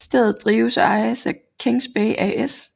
Stedet drives og ejes af Kings Bay AS